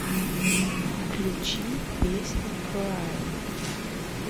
включи песня краин